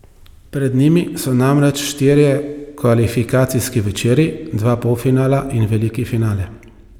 Pred njimi so namreč štirje kvalifikacijski večeri, dva polfinala in veliki finale.